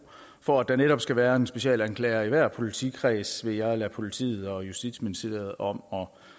for at der netop skal være en specialanklager i hver politikreds vil jeg lade politiet og justitsministeriet om